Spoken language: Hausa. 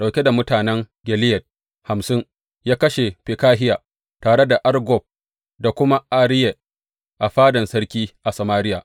Ɗauke da mutanen Gileyad hamsin, ya kashe Fekahiya tare da Argob da kuma Ariye a fadan sarki a Samariya.